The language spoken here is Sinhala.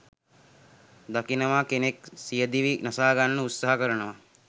දකිනවා කෙනෙක් සියදිවි නසා ගන්න උත්සහා කරනවා.